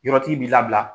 Yɔrɔtigi b'i labila